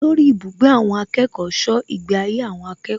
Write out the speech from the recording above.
Olórí ibùgbé àwọn akẹ́kọ̀ọ́ ṣọ́ ìgbé ayé àwọn akẹ́kọ̀ọ́